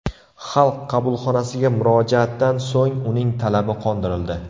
Xalq qabulxonasiga murojaatdan so‘ng uning talabi qondirildi.